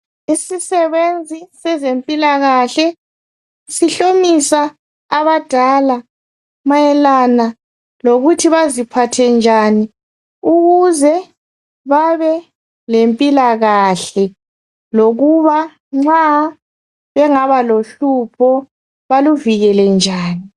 Isisebenzi sezempilakahle sihlomisa abadala mayelana lokuthi baziphathe njani ukuze babe lempilakahle lokuba nxa bengaba lohlupho baluvikele njani.